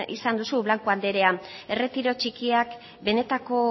izan duzu blanco anderea erretiro txikiak benetako